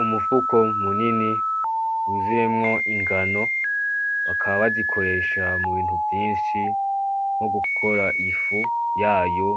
"Umufuko munini wuzuyemwo ingano bakaba bazikoresha mu bintu vyinshi nko gukora ifu yayo,